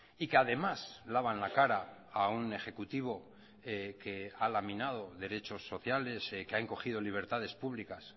y que además lavan la cara a un ejecutivo que ha laminado derechos sociales que han cogido libertades públicas